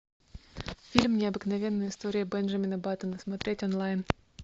фильм необыкновенная история бенджамина баттона смотреть онлайн